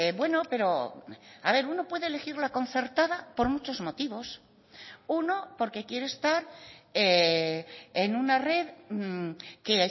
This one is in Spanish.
bueno pero a ver uno puede elegir la concertada por muchos motivos uno porque quiere estar en una red que